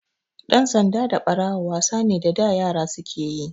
Ɗan sanda da Ɓarawo wasa ne da da yara suke yi.